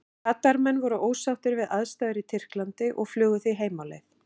Katar menn voru ósáttir við aðstæður í Tyrklandi og flugu því heim á leið.